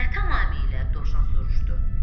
Nə tamamilə dovşan soruşdu.